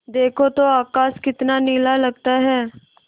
देखो तो आकाश कितना नीला दिखता है